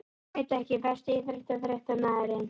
Veit ekki Besti íþróttafréttamaðurinn?